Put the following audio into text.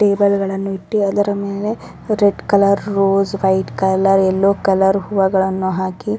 table ಗಳನ್ನು ಇಟ್ಟಿ ಅದರ ಮೇಲೆ red colour rose white colour yellow colour ಹೂವಗಳನ್ನು ಹಾಕಿ --